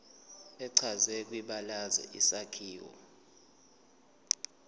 echazwe kwibalazwe isakhiwo